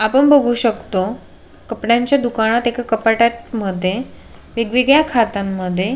आपण बघु शकतो कपड्यांच्या दुकानात एका कपाट्यात मध्ये वेगवेगळ्या खात्यां मध्ये --